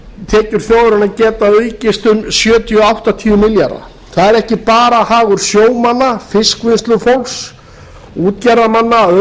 tekjur þjóðarinnar að geta aukist um sjötíu til áttatíu milljarða það er ekki bara hagur sjómanna fiskvinnslufólks og útgerðarmanna að